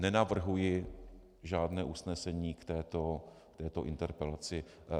Nenavrhuji žádné usnesení k této interpelaci.